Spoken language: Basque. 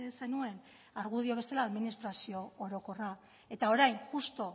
zenuen argudio bezala administrazio orokorra eta orain justu